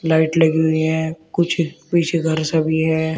Light लगी हुई हैं कुछ पीछे घर सा भी है।